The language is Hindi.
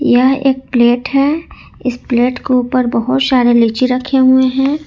यह एक प्लेट है इस प्लेट के ऊपर बहुत सारे लीची रखे हुए हैं।